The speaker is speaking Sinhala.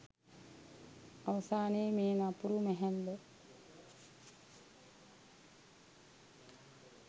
අවසානයේ මේ නපුරු මැහැල්ල